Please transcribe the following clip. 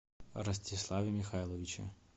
ростиславе михайловиче